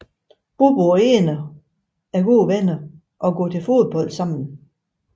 Bobo og Eno er gode venner og går til fodbold sammen